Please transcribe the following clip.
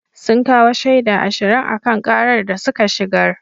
Sun kawo shaida ashirin a kan karar da suka shigar.